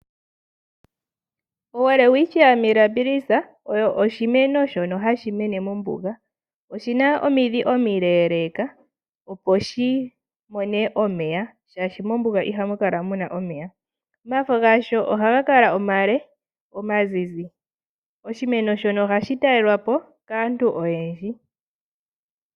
Welwitchia Mirabilis oyo oshimeno shono hashi mene mombuga. Oshina omidhi omileeleka opo shi mone omeya shaashi mombuga ihamu kala muna omeya. Omafo gasho ohaga kala omale omazizi. Oshimeno shono ohashi talelwa po kaantu oyendji.